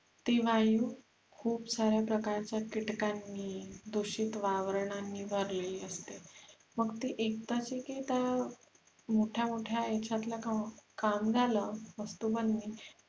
ती वायु खुप साऱ्या प्रकारच्या कीटकानी दुषित आवरणानी भरलेली असते मग ते एकदाच की त्या मोठ्या मोठ्या यांच्यातला काम झाल वस्तु बनली